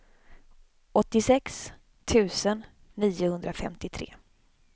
åttiosex tusen niohundrafemtiotre